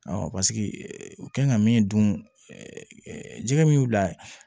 paseke u kan ka min dun jɛgɛ min y'u da ye